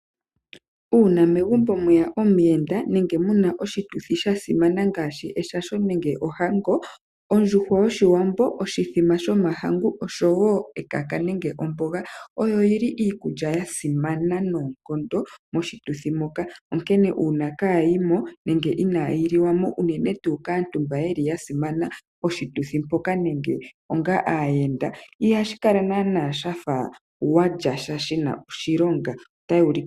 Uuna megumbo mweya omuyenda nenge muna oshituthi shasimana ngaashi eshasho nenge ohango, ondjuhwa yOshiwambo, oshimbombo shomahangu nosho wo ekaka nenge omboga oyo yili iikulya yasimana noonkondo moshituthi moka. Onkene uuna kaayimo nenge inaayiliwamo unene tuu kaantu mba yeli yasimana poshituthi mpoka nenge onga aayenda ihashi kala naana wafa walyasha shina oshilonga.